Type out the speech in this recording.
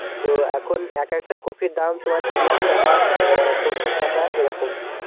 তো এখন এক একটা কপির দাম তোমার তিরিশ টাকা, অ্যাঁ পঁচিশ টাকা এরকম.